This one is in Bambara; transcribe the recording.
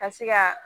Ka se ka